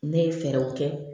Ne ye fɛɛrɛw kɛ